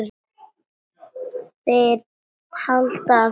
Þeir halda af stað.